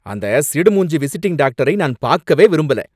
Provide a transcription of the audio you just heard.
அந்த சிடு மூஞ்சி விசிட்டிங் டாக்டரை நான் பாக்கவே விரும்பல.